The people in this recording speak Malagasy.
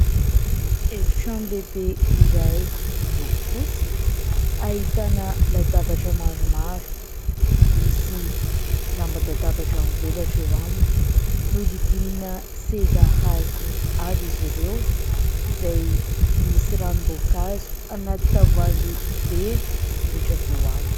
Efitrano lehibe iray miloko fotsy ahitana latabatra maromaro, misy lamban-databatra mivelatra eo aminy. Nohodidinina seza hazo avy izy ireo izay misy ranom-boankazo anaty tavoahangy vera mipetraka eo aminy.